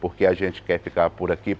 Por que a gente quer ficar por aqui?